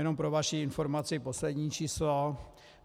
Jenom pro vaši informaci poslední číslo.